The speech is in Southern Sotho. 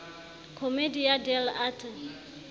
commedia dell arte